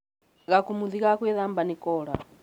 gakũmũthĩ ka gwĩthaba nĩkora